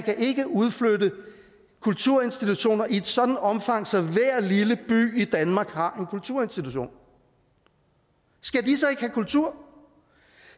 ikke kan udflytte kulturinstitutioner i et sådant omfang så hver lille by i danmark har en kulturinstitution skal de så ikke have kultur